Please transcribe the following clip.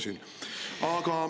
Ei ole plaanis.